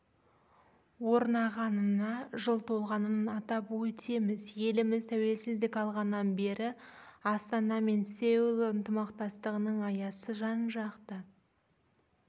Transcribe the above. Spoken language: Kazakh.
орнағанына жыл толғанын атап өтеміз еліміз тәуелсіздік алғаннан бері астана мен сеул ынтымақтастығының аясы жан-жақты